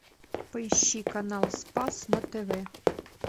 поищи канал спас на тв